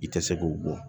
I tɛ se k'o bɔ